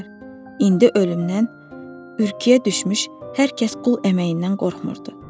İndi ölümdən ürküyə düşmüş hər kəs qul əməyindən qorxmurdur.